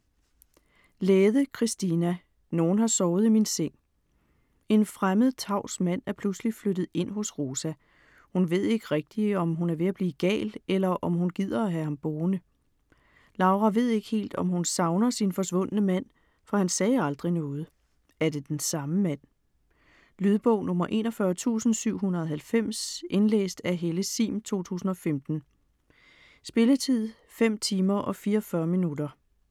Lähde, Kristiina: Nogen har sovet i min seng En fremmed, tavs mand er pludselig flyttet ind hos Rosa. Hun ved ikke rigtig, om hun er ved at blive gal, eller om hun gider have ham boende. Laura ved ikke helt, om hun savner sin forsvundne mand, for han sagde aldrig noget. Er det den samme mand? Lydbog 41790 Indlæst af Helle Sihm, 2015. Spilletid: 5 timer, 44 minutter.